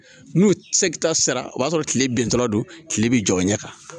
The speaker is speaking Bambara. N'u seki ta sera o b'a sɔrɔ kile bin tɔ la don tile bɛ jɔ o ɲɛ kan